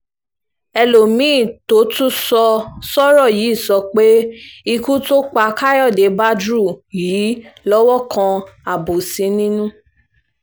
ẹlòmí-ín tó tún sọ sọ́rọ̀ yìí sọ pé ikú tó pa káyọ̀dé bádru yìí lọ́wọ́ kan àbòsí nínú